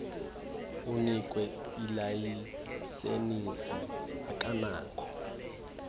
unikwe ilayisenisi akanakho